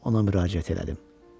deyə ona müraciət elədim.